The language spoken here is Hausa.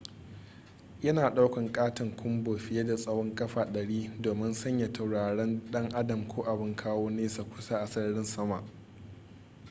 yana daukan katon kunbo fiye da tsawon kafa 100 domin sanya tauraron dan adam ko abin kawo nesa kusa a sararin sama